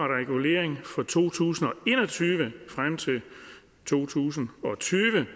regulering for to tusind og en og tyve frem til to tusind og tyve